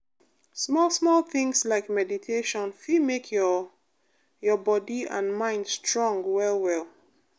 small-small things like meditation fit make your your body and mind strong well well.